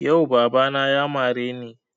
Yau baba na ya mare ni